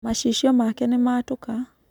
Macicio make nĩmatũka.